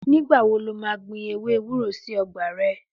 Ní gbà wò lò mà gbín èwé èwúrò sí ọ̀gbà rẹ?